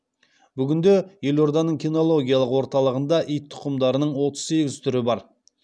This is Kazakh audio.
бүгінде елорданың кинологиялық орталығында ит тұқымдарының отыз сегіз түрі бар